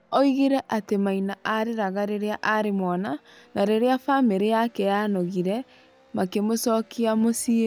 Oigire atĩ Maina areraga rĩrĩa arĩ mwana, na rĩrĩa famĩrĩ yake yanogire makĩmũcokia mũciĩ.